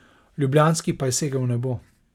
Ljubljanski pa je segel v nebo.